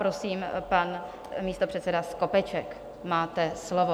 Prosím pan místopředseda Skopeček, máte slovo.